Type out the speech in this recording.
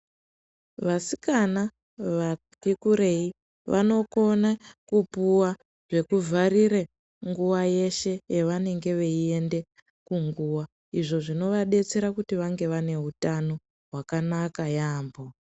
Vasikana vati kurei vanokona kupuwa zvekuvharira nguwa yeshe yavanenge veiende kunguwa izvo zvinovadetsera kuti vange vaneutano hwakanaka yaampho.